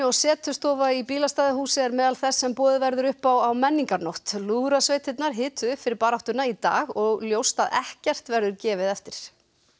setustofa í bílastæðahúsi er meðal þess sem boðið verður upp á á menningarnótt lúðrasveitirnar hituðu upp fyrir baráttuna í dag og ljóst að ekkert verður gefið eftir